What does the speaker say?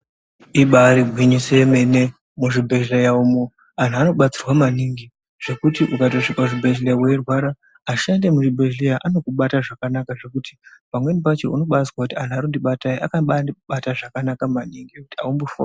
Ribaari gwinyiso remene muzvibhehleya umu vantu vanobatsirwa maningi zvekutuukatosvika muchibhehleya weirwara vashandi vemuzvibhehleya vanokubata zvakanaka zvokuti pamwene pakona unombaiti vantu vakandibata vakabaindibata zvakanaka maningi haumbofungi......